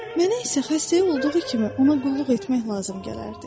Mənə isə xəstəyi olduğu kimi ona qulluq etmək lazım gələrdi.